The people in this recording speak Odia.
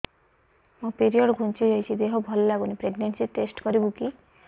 ମୋ ପିରିଅଡ଼ ଘୁଞ୍ଚି ଯାଇଛି ଦେହ ଭଲ ଲାଗୁନି ପ୍ରେଗ୍ନନ୍ସି ଟେଷ୍ଟ କରିବୁ କି